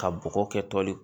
Ka bɔgɔ kɛtɔli